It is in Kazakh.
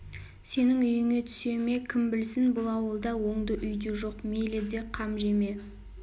сенің үйіңе түсе ме кім білсін бұл ауылда оңды үй де жоқ мейлі де қам жеме